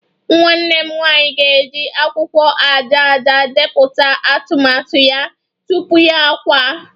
Nwanne m nwanyị ga-eji akwụkwọ aja aja depụta atụmatụ ya tupu ya akwa